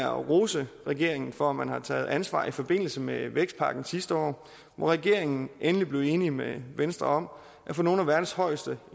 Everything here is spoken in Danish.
rose regeringen for at man har taget ansvar i forbindelse med vækstpakken sidste år hvor regeringen endelig blevet enig med venstre om at få nogle af verdens højeste